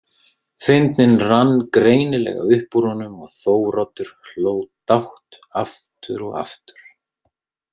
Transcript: Fyndnin rann greinilega upp úr honum og Þóroddur hló dátt aftur og aftur.